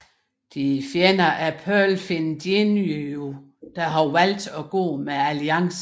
De er fjender af Pearlfin Jinyu der har valgt at gå med Alliancen